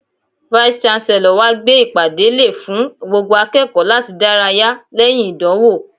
Vice-Chancellor wa gbé ìpàdé lè fún gbogbo akẹ́kọ̀ọ́ láti dárayá lẹ́yìn ìdánwò.